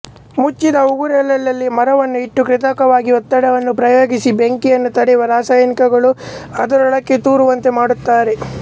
ಮುಚ್ಚಿದ ಉರುಳೆಗಳಲ್ಲಿ ಮರವನ್ನು ಇಟ್ಟು ಕೃತಕವಾಗಿ ಒತ್ತಡವನ್ನು ಪ್ರಯೋಗಿಸಿ ಬೆಂಕಿಯನ್ನು ತಡೆಯುವ ರಾಸಾಯನಿಕಗಳು ಅದರೊಳಕ್ಕೆ ತೂರುವಂತೆ ಮಾಡುತ್ತಾರೆ